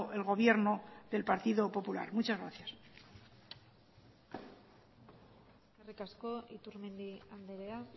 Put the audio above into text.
el gobierno del partido popular muchas gracias eskerrik asko iturmendi andrea